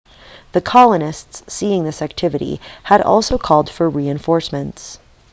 the colonists seeing this activity had also called for reinforcements